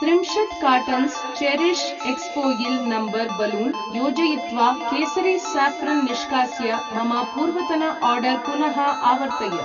त्रिंशत् cartons cherish exfoil number balloon योजयित्वा केसरी साफ्रन् निष्कास्य मम पूर्वतन आर्डर् पुनः आवर्तय।